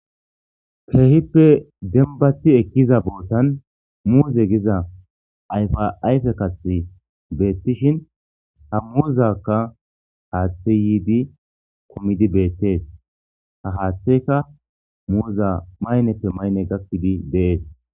peehippe dembathi ekkiza bootan muuze giza ayfaayfe kathi beettishin ha muuzakka haaththe yiidi komidi beettees ha haaththeka muuza mayneppe maynne gakkidi dees